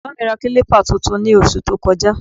Ẹ̀gbọ́n mi ra kílípà tuntun ní oṣù tó kọjá